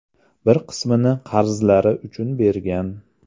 Bir qismini qarzlari uchun bergan.